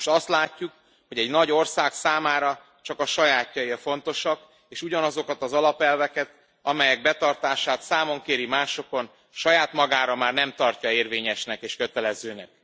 Most azt látjuk, hogy egy nagy ország számára csak a sajátjai a fontosak és ugyanazokat az alapelveket, amelyek betartását számon kéri másokon, saját magára már nem tartja érvényesnek és kötelezőnek.